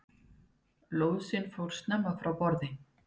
Lóðsinn fór of snemma frá borði